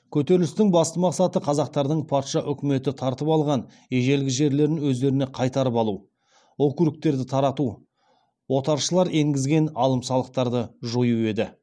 көтерілістің басты мақсаты қазақтардың патша үкіметі тартып алған ежелгі жерлерін өздеріне қайтарып алу округтерді тарату отаршылар енгізген алым салықтарды жою еді